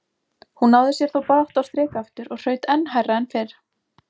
Hún náði sér þó brátt á strik aftur og hraut enn hærra en fyrr.